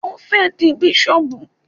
Ó fẹ́ di bísọ̀bù